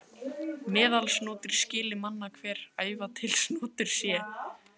Meðalsnotur skyli manna hver, æva til snotur sé.